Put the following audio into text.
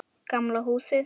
Gamla húsið.